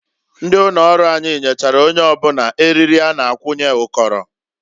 Ndị ụnọrụ anyị nyechara onye ọbụna eriri a na-akwunye ụkọrọ.